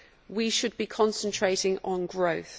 We should be concentrating on growth.